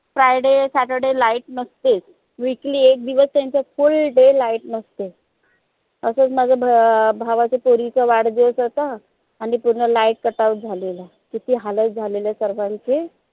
friday, saturday light नसतेच weekly एक दिवस त्यांचं full day light नसते तसंच माझ्या भ अं भावाच्या पोरीचा वाढदिवस होत आणि पूर्ण light cut out झालेलं किती हालत झालेलं सर्वांचे